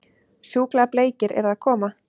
Sjúklega bleikir eru að koma!